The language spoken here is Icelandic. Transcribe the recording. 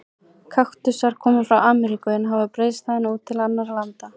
Kaktusar koma frá Ameríku en hafa breiðst þaðan út til annarra landa.